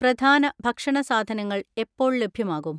പ്രധാന ഭക്ഷണ സാധനങ്ങൾ എപ്പോൾ ലഭ്യമാകും?